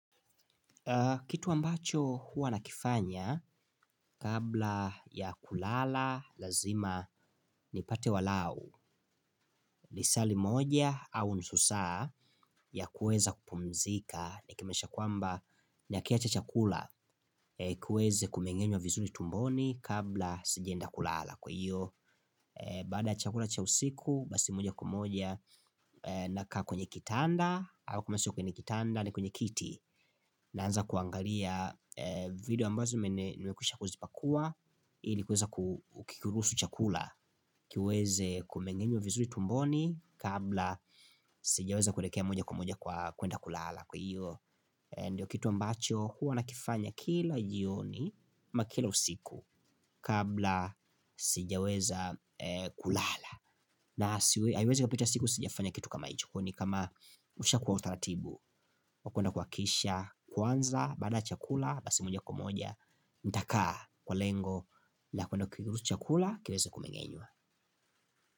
Kitu ambacho huwa nakifanya kabla ya kulala lazima nipate walao lisaa limoja au nusu saa ya kuweza kupumzika. Nikimaanisha kwamba nakiacha chakula kiweze kumeng'enywa vizuri tumboni kabla sijaenda kulala. Kwa hiyo baada chakula cha usiku basi moja kwa moja nakaa kwenye kitanda au kama sio kwenye kitanda ni kwenye kiti. Naanza kuangalia video ambazo nimekwisha kuzipakua ili kuweza kukiruhusu chakula kiweze kumeng'enywa vizuri tumboni kabla sijaweza kuelekea moja kwa moja kwa kwenda kulala. Kwa hio ndio kitu ambacho huwa nakifanya kila jioni ama kila usiku kabla sijaweza kulala na haiwezi ikapita siku sijafanya kitu kama hicho kwa hio ni kama ushakuwa utaratibu hakuna kuakikisha, kwanza, bada ya chakula, basi moja kwa moja, intakaa kwa lengo la kuna kikirutu chakula, kireza kumengenywa.